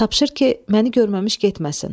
Tapşır ki, məni görməmiş getməsin.